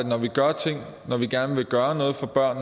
når vi gør ting når vi gerne vil gøre noget for børn